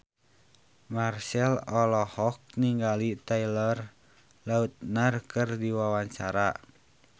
Marchell olohok ningali Taylor Lautner keur diwawancara